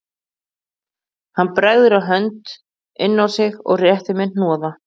Hann bregður hönd inn á sig og réttir mér hnoða